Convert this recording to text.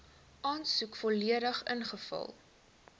aansoek volledig ingevul